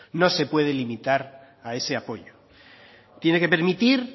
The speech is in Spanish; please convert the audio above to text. no se puede limitar a ese apoyo tiene que permitir